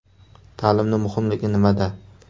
Ta’limning muhimligi nimada?